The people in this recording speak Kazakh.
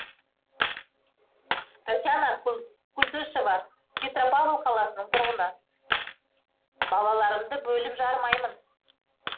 татьяна култышева петропавл қаласының тұрғыны балаларымды бөліп жармаймын